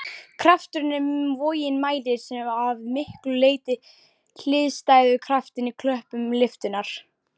Krafturinn sem vogin mælir er að miklu leyti hliðstæður kraftinum í köplum lyftunnar.